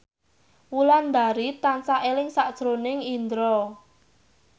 Wulandari tansah eling sakjroning Indro